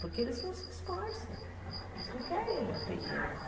Porque eles não se esforçam, eles não querem aprender nada.